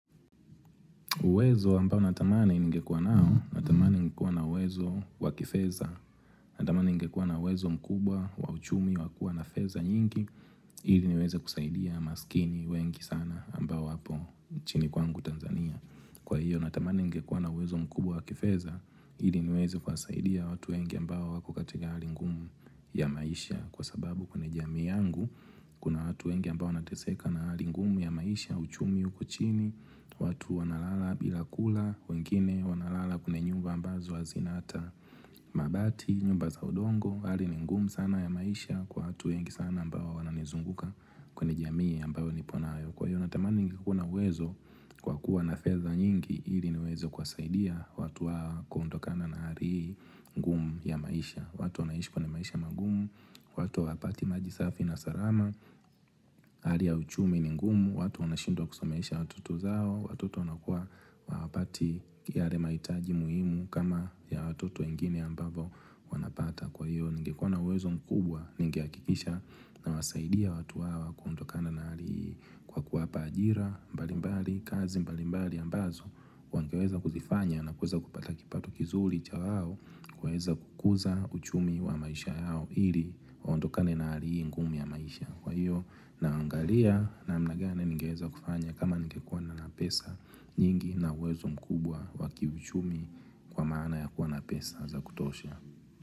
Uwezo ambao natamani ningekua nao, natamani ningekua na uwezo wakifedha, natamani ingekua na uwezo mkubwa wa uchumi wakua na feza nyingi, ili niweze kusaidia masikini wengi sana ambao wapo nchini kwangu Tanzania. Kwa hiyo natamani ningekuwa na uwezo mkubwa wa kifedha ili niweze kuwasaidia watu wengi ambao wako katika hali ngumu ya maisha Kwa sababu kuna jamii yangu kuna watu wengi ambao wanateseka na hali ngumu ya maisha uchumi uko chini watu wanalala bila kula wengine wanalala kuna nyumba ambazo hazina hata mabati, nyumba za udongo hali ni ngumu sana ya maisha kwa watu wengi sana ambao wananizunguka kwenye jamii ambao niponayo Kwa hiyo natamani ningekuwa na uwezo kwa kuwa nafedha nyingi ili niweze kuwasaidia watu hawa kuondokana na hali hii ngumu ya maisha, watu wanaishi kwenye maisha magumu, watu hawapati maji safi na salama, Hali ya uchumi ni ngumu, watu wanashindwa kusomesha watoto zao watoto wana kuwa hawapati yale mahitaji muhimu kama ya watoto wengine ambavyo wanapata Kwa hiyo, ningekuwa uwezo mkubwa, ningehakikisha nawasaidia watu hawa kwa kuondokana na hali hii kwa kuwapa ajira mbalimbali, kazi mbalimbali ambazo wangeweza kuzifanya na kuweza kupata kipato kizuri cha wao, wawezakuza uchumi wa maisha yao ili, waondokane na hali hii ngumi ya maisha. Kwa hiyo, naangalia namna gani ningeweza kufanya kama ningekuwa na pesa nyingi na uwezo mkubwa wakiuchumi. Kwa maana ya kuwa na pesa za kutosha.